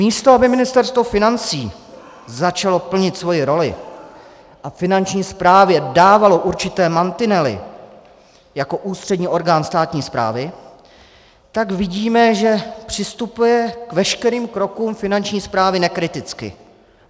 Místo aby Ministerstvo financí začalo plnit svoji roli a Finanční správě dávalo určité mantinely jako ústřední orgán státní správy, tak vidíme, že přistupuje k veškerým krokům Finanční správy nekriticky.